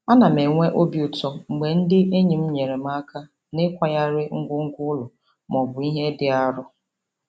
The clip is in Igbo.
Ana m enwe obi ụtọ mgbe ndị enyi m nyeere m aka n'ịkwagharị ngwongwo ụlọ maọbụ ihe dị arọ.